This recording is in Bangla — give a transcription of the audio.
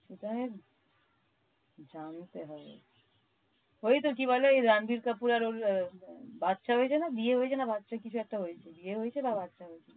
ওটা জানতে হবে। ওই তো কি বলে রানবীর কাপুর আর ওর আহ বাচ্চা হয়েছে না? বিয়ে হয়েছে না বাচ্চা কিছু একটা হয়েছে বিয়ে হয়েছে না বাচ্চা হয়েছে।